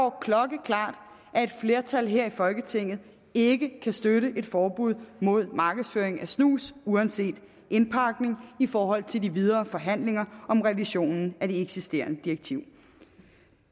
klokkeklart at et flertal her i folketinget ikke kan støtte et forbud mod markedsføring af snus uanset indpakning i forhold til de videre forhandlinger om revisionen af det eksisterende direktiv